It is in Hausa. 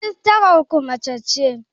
rijistarar ku mace ce?